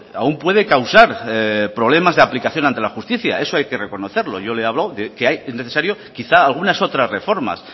aún puede causar problemas de aplicación ante la justicia eso hay que reconocerlo yo le he hablado de que es necesario quizás algunas otras reformas